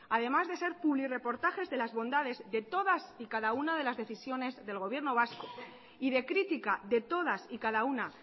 además de ser publirreportajes de las bondades de todas y cada una de las decisiones del gobierno vasco y de crítica de todas y cada una